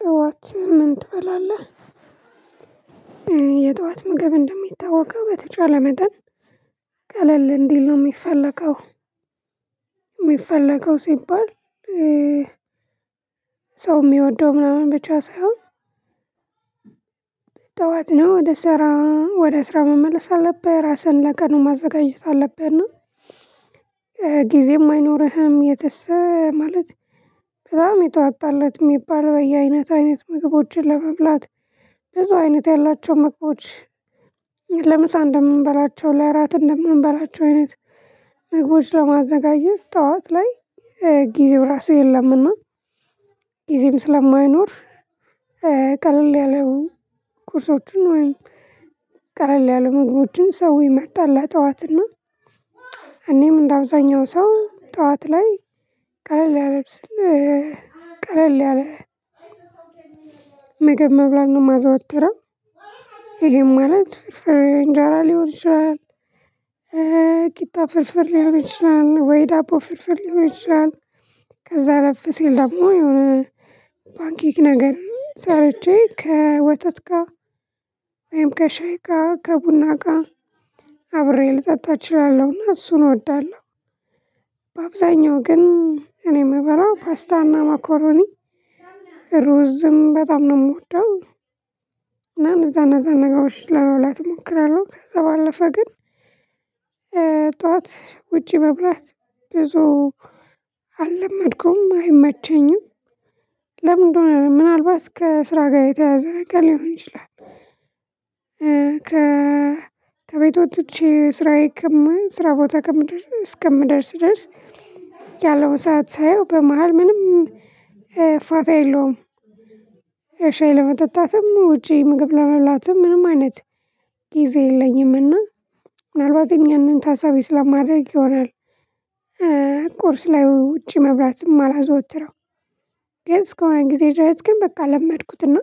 ጠዋት ምን ትበላለህ? የጠዋት ምግብ እንደሚታወቀው በተቻለ መጠን ቀለል እንዲል ነው የሚፈለገው የሚፈለገው ሲባል ሰው የሚወደው ምናምን ብቻ ሳይሆን። ጠዋት ነው ወደ ስራ ወደ ስራ መመለስ አለብህ ራስህን ለቀኑ ማዘጋጀት አለብህና ጊዜም አይኖርህም። ማለት በጣም የተዋጣለት የሚባል በየአይነት አይነት ምግቦችን ለመብላት ብዙ አይነት ያላቸው ምግቦች ለምሳ እንደምንበላቸው ለራት እንደምንበላቸው አይነት ምግቦችን ለማዘጋጀት ጠዋት ላይ ጊዜው ራሱ የለምና ጊዜም ስለማይኖር ቀለል ያሉ ቁርሶችን ወይም ቀለል ያሉ ምግቦችን ሰው ይመርጣል ለጠዋት እና እኔም እንደ አብዛኛው ሰው ጠዋት ላይ ቀለል ያለ ቀለል ያለ ምገብ መብላት ነው ማዘወትረው። ይሄም ማለት ፍርፍር እንጃራ ሊሆን ይችላል ቂጣ ፍርፍር ሊሆን ይችላል ወይ ዳቦ ፍርፍር ሊሆን ይችላል ከዛ አለፍ ሲል ደግሞ የሆነ ባንኪክ ነገር ሰርቼ ከወተት ጋር ወይም ከሻይ ጋር ከቡና ጋር አብሬ ልጠጣው እችላለሁና እሱን እወዳለሁ። በአብዛኛው ግን እኔ የምበላው ፓስታና መኮረኒ ሩዝም በጣም ነው የምወደው እና እነዛን እነዛን ነገሮች ለመብላት እሞክራለሁ ከዛ ባለፈ ግን ጠዋት ውጪ መብላት ብዙ አለመድኩም አይመቸኝም። ለምን እንደሆነ ምናልባት ከስራ ጋር የተያያዘ ነገር ሊሆን ይችላል። ከቤት ወጥቼ ስራዬን ስራ ቦታ እስከምደርስ ድረስ ያለውን ሰዓት ሳየው በመሃል ምንም ፋታ የለውም። ሻይ ለመጠጣትም ውጪ ምግብ ለመብላትም ምንም አይነት ጊዜ የለኝምና ምናልባት እኛን ታሳቢ ስለማደርግ ይሆናል ቁርስ ላይ ውጪ መብራት የማላዘወትረው። ግን እስከሆነ ጊዜ ድረስ ግን በቃ ለመድኩትና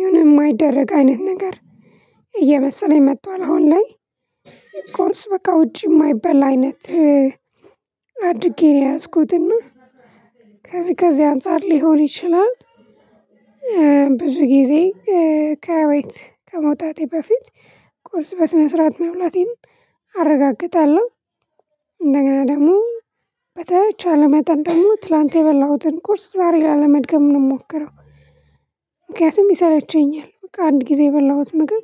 የሆነ የማይደረግ አይነት ነገር እየመሰለኝ መጥቷል አሁን ላይ ቁርስ በቃ ውጪ የማይበላ አይነት አድርጌ ነው የያዝኩት እና ከዚህ ከዚህ አንፃር ሊሆን ይችላል። ብዙ ጊዜ ከቤት ከመውጣቴ በፊት ቁርስ በስነ ስርዓት መብላቴን አረጋግጣለሁ እንደገና ደግሞ በተቻለ መጠን ደግሞ ትላንት የበላሁትን ቁርስ ዛሬ ላለመድገም ነው የምሞክረው። ምክንያቱም ይሰለቸኛል በቃ አንድ ጊዜ የበላሁት ምግብ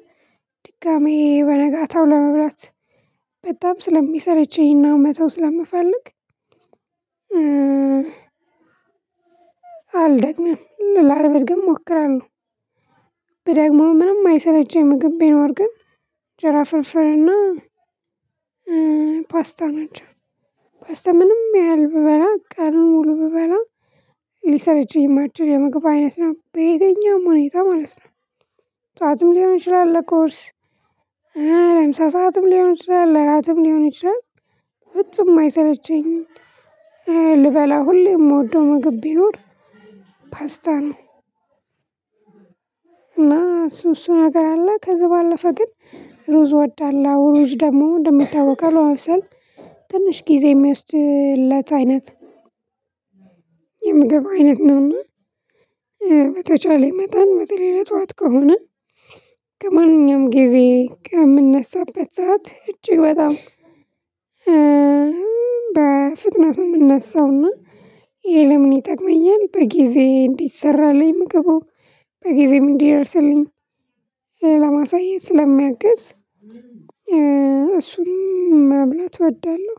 ድጋሚ በነጋታው ለመብላት በጣም ስለሚሰለቸኝ እና መተው ስለምፈልግ አልደግምም ላለመድገም እሞክራለሁ። ብደግመዉም ምንም የማይሰለቸኝ ምግብ ቢኖር ግን እንጀራ ፍርፍር እና ፓስታ ናቸው። ፓስታ ምንም ያህል ብበላ ቀን ሙሉ ብበላ ሊሰለቸኝ የማይችል የምግብ አይነት ነው በየትኛውም ሁኔታ ማለት ነው። ጠዋትም ሊሆን ይችላል ለቁርስ ለምሳ ሰዓትም ሊሆን ይችላል ለ እራትም ሊሆን ይችላል ፍጹም አይሰለቸኝም ልበላ ሁሌ የምወደው ምግብ ቢኖር ፓስታ ነው። እና እሱ እሱ ነገር አለ ከዚህ ባለፈ ግን ሩዝ እወዳለ እሩዝ ደግሞ እንደሚታወቀው ለማብሰል ትንሽ ጊዜ የሚወስድለት አይነት የምግብ አይነት ነውና። በተቻለኝ መጠን በተለይ ለጠዋት ከሆነ ከማንኛውም ጊዜ ከምነሳበት ሰዓት እጅግ በጣም በፍጥነት የምነሳው እና ይሄ ለምን ይጠቅመኛል በጊዜ እንዲሰራልኝ ምግቡ በጊዜም እንዲደርስልኝ ለማሳየት ስለሚያግዝ እሱን መብላት እወዳለሁ።